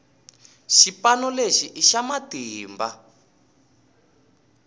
xipano lexi i xa matimba